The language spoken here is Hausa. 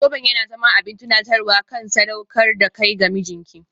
Zoben ya zama abin tunatarwa kan sadaukar da kai ga mijinki.